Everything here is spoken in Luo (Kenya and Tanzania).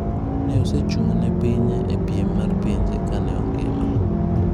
Ne osechung' ne pinye e piem mar pinje kane ongima.